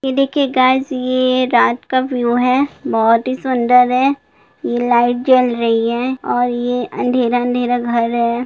ये देखिए गाइज ये रात का व्यू है बहुत ही सुंदर है लाइट जल रही है और ये अंधेरा-अंधेरा घर है।